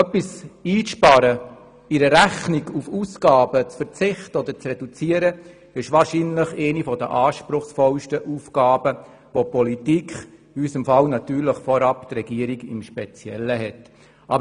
Etwas einzusparen und Aufgaben zur reduzieren gehört wohl zu den anspruchsvollsten Aufgaben, welche die Politik, und die Regierung im Speziellen, erfüllen muss.